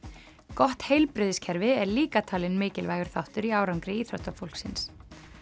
gott heilbrigðiskerfi er líka talinn mikilvægur þáttur í árangri íþróttafólksins